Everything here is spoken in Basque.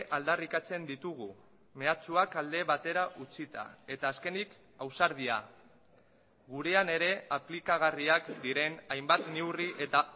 aldarrikatzen ditugu mehatxuak alde batera utzita eta azkenik ausardia gurean ere aplikagarriak diren hainbat neurri eta